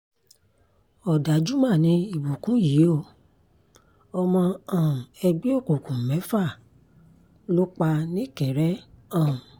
òdájú mà ni ìbùkún yìí o ọmọ um ẹgbẹ́ òkùnkùn mẹ́fà ló pa nìkéré um